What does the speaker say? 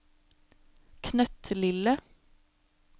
knøttlille